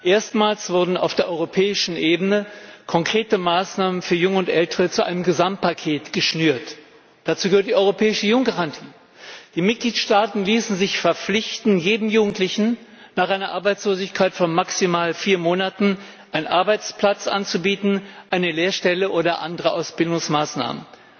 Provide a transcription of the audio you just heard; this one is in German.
Erstmals wurden auf der europäischen Ebene konkrete Maßnahmen für Junge und Ältere zu einem Gesamtpaket geschnürt. Dazu gehört die europäische Jungendgarantie. Die Mitgliedstaaten ließen sich verpflichten, jedem Jugendlichen nach einer Arbeitslosigkeit von maximal vier Monaten einen Arbeitsplatz anzubieten, eine Lehrstelle oder andere Ausbildungsmaßnahmen.